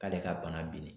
K'ale ka bana bina